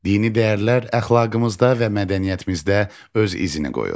Dini dəyərlər əxlaqımızda və mədəniyyətimizdə öz izini qoyur.